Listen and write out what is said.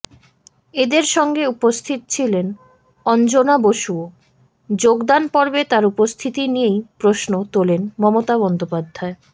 এদের সঙ্গে উপস্থিত ছিলেন অঞ্জনা বসুও যোগদান পর্বে তাঁর উপস্থিতি নিয়েই প্রশ্ন তোলেন মমতা বন্দ্যোপাধ্যায়